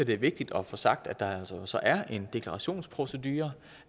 det er vigtigt at få sagt at der altså så er en deklarationsprocedure